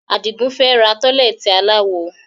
Adigun fẹ́ ra tọ́lẹ́ẹ́tì aláwo